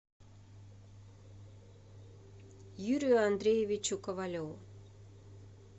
юрию андреевичу ковалеву